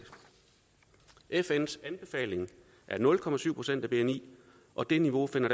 fns anbefaling er nul procent af bni og det niveau finder